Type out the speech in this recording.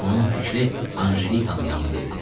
Onun fikri Anjelikanın yanında idi.